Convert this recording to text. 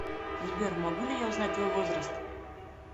сбер могу ли я узнать твой возраст